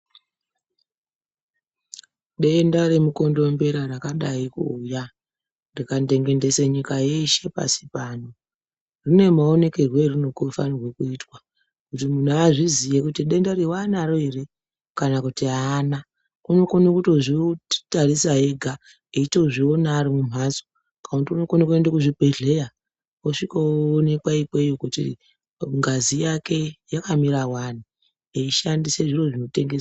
Denda remu kondombera rakadai ku uya yaka dengendese nyika yese pasi pano rine ma onekerwe arino fanire kuitwa kuti munhu azviziye kuti denda wanaro ere kana kuti ana unokona kutozvi tarisa ega eito zviona ari mu mhatso kana uno kone kuenda ku zvibhedhleya osvika onekwa ikweyo kuti ngazi yake yaka mira wani eyi shandiswa zviro zvino tengeswa.